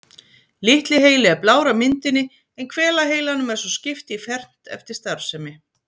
Litli heili er blár á myndinni en hvelaheilanum er svo skipt í fernt eftir starfsemi.